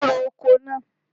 O ro oko náà.